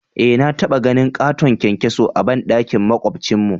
Eh na taba ganin katon kyankyaso a bandakin makwabcin mu.